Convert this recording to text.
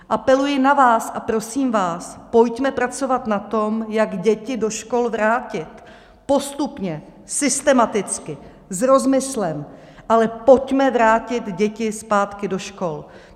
Apeluji na vás a prosím vás, pojďme pracovat na tom, jak děti do škol vrátit - postupně, systematicky, s rozmyslem, ale pojďme vrátit děti zpátky do škol.